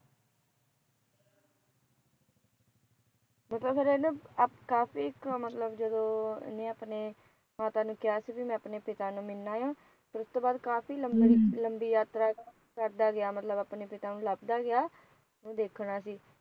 ਮਤਲਬ ਫਿਰ ਇਹਨੇ ਕਾਫ਼ੀ ਮਤਲਬ ਜਦੋਂ ਇਹਨੇ ਆਪਣੇ ਮਾਤਾ ਨੂੰ ਕਿਹਾ ਸੀ ਬੀ ਮੈਂ ਆਪਣੇ ਪਿਤਾ ਨੂੰ ਮਿਲਣਾ ਆ ਫਿਰ ਉਸ ਤੋਂ ਬਾਅਦ ਕਾਫ਼ੀ ਲੰਬੀ ਯਾਤਰਾ ਕਰਦੇ ਗਿਆ ਮਤਲਬ ਆਪਣੇ ਪਿਤਾ ਨੂੰ ਲੱਬਦਾ ਗਿਆ ਦੇਖਣਾ ਸੀ